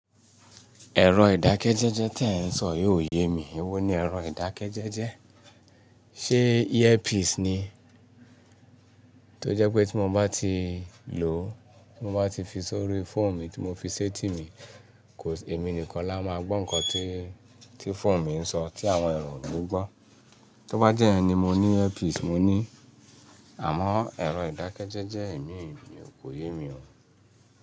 Ẹ̀rọ ìdákẹ́jẹ́jẹ́ tí ẹ̀ ń sọ yóò yé mi. Ewó ni ẹ̀rọ ìdákẹ́jẹ́jẹ́. Ṣé earpiece ni? Tó jẹ́ pé tí mo bá ti lò, tí mo bá ti fi sórí foonu tí mo fi sé tì mí, èmi nìkan la máa gbọ́ nǹkan tí, tí foonu mi ń sọ tí àwọn èròǹ oni gbọ́. Tó bá jẹ́ iyen ni mo ní earpiece, mo ní. Àmọ́ ẹ̀rọ ìdákẹ́jẹ́jẹ́ èmi, mi ò kó yé mi o.